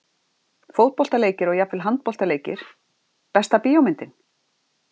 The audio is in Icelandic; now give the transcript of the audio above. Fótboltaleikir og jafnvel handboltaleikir Besta bíómyndin?